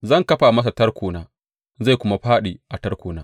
Zan kafa masa tarkona, zai kuma fāɗi a tarkona.